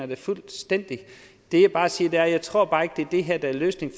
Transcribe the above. da fuldstændigt det jeg bare sige er at jeg ikke tror at det er det her der er løsningen